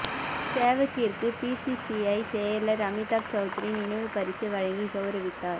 சேவாக்கிற்கு BCCI செயலர் அமிதாப் செளத்ரி நினைவுப் பரிசை வழங்கி கௌரவித்தார்